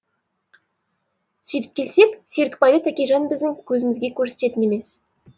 сүйтіп келсек серікбайды тәкежан біздің көзімізге көрсететін емес